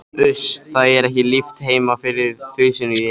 Uss, það er ekki líft heima fyrir þusinu í henni.